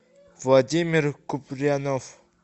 владимир куприянов